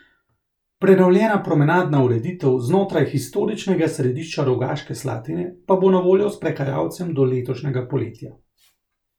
Prenovljena promenadna ureditev znotraj historičnega središča Rogaške Slatine pa bo na voljo sprehajalcem do letošnjega poletja.